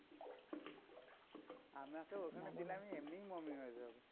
আমাকে ওখানে দিলে আমি এমনই mummy হয়ে যাবো।